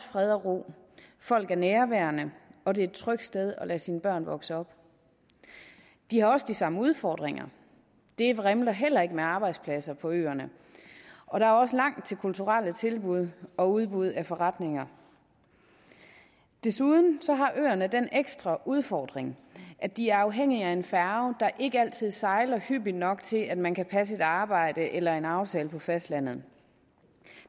fred og ro folk er nærværende og det er et trygt sted at lade sine børn vokse op de har også de samme udfordringer det vrimler heller ikke med arbejdspladser på øerne og der er også langt til kulturelle tilbud og udbud af forretninger desuden har øerne den ekstra udfordring at de er afhængige af en færge der ikke altid sejler hyppigt nok til at man kan passe et arbejde eller en aftale på fastlandet